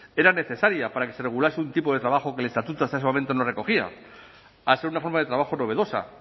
era necesaria para que se regulase un tipo de trabajo que el estatuto hasta ese momento no recogía a ser una forma de trabajo novedosa